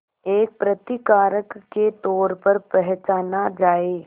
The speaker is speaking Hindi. एक प्रतिकारक के तौर पर पहचाना जाए